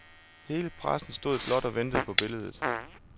Hele pressen stod blot og ventede på billedet.